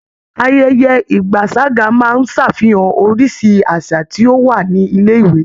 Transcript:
Ayẹyẹ ìgbaṣàga máa ń ṣàfihan oríṣi àṣà tí ó wà ní ilé-ìwé.